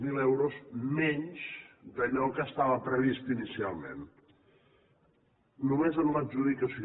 zero euros menys d’allò que estava previst inicialment només en l’adjudicació